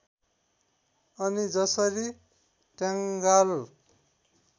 अनि जसरी टङ्गाल